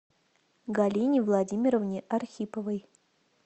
галине владимировне архиповой